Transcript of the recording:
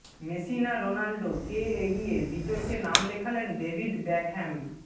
Messi না Ronaldo কে এগিয়ে বিতর্কে নাম লেখালেন ডেভিড বেকহ্যাম